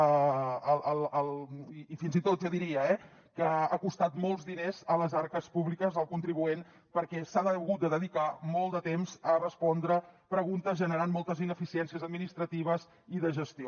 i fins i tot jo diria que ha costat molts diners a les arques públiques al contribuent perquè s’ha hagut de dedicar molt de temps a respondre preguntes que han generat moltes ineficiències administratives i de gestió